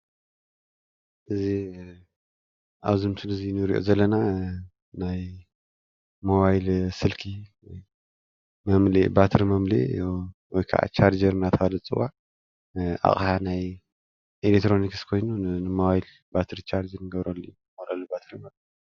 እዚ አብዚ ምስሊ እዚ ንሪኦ ዘለና ናይ ሞባይል ስልኪ ባትሪ መምልኢ እዩ ወይ ከዓ ቻርጀር እናተባህለ ዝፅዋዕ አቅሓ ናይ ኤሌትሪኒክስ ኮይኑ ንሞባይል ባትሪ ቻርጅ እንገብረሉ እዩ፡፡